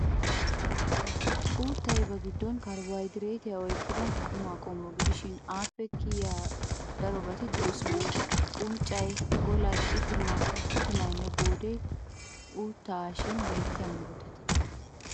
Uuttay ba giddon karbohaydireetiyaa oyqqida qumaa qommo gidishin appe kiyiya darobati de"oosona. Unccay, golay, itimayinne goodee uuttaa haashin beettiya murutata.